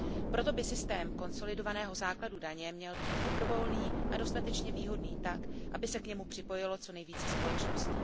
Proto by systém konsolidovaného základu daně měl být dobrovolný a dostatečně výhodný tak, aby se k němu připojilo co nejvíce společností.